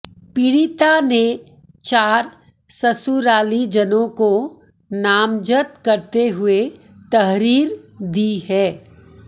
पीड़िता ने चार ससुरालीजनों को नामजद करते हुए तहरीर दी है